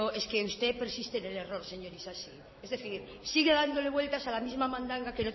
es que usted persiste en el error señor isasi es decir sigue dándole vueltas a la misma mandanga